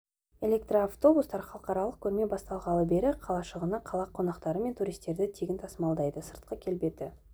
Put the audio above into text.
электроавтобустар халықаралық көрме басталғалы бері қалашығына қала қонақтары мен туристерді тегін тасымалдайды сыртқы келбеті